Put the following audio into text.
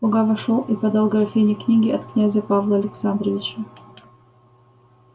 слуга вошёл и подал графине книги от князя павла александровича